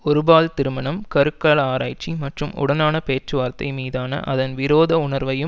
ஒருபால் திருமணம் கருக்கல ஆராய்ச்சி மற்றும் உடனான பேச்சுவார்த்தை மீதான அதன் விரோத உணர்வையும்